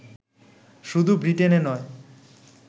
শুধু ব্রিটেনে নয়